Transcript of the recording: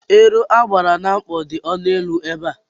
Ero agbara na mkpọ dị ọnụ élú ebe a.